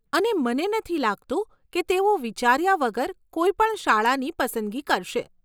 અને મને નથી લાગતું કે તેઓ વિચાર્યા વગર કોઈ પણ શાળાની પસંદગી કરશે.